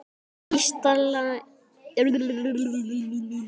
að Ísland bregður sínum sið